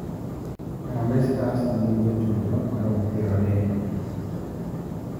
Harambe stars nigi jotugo maromo piero adek.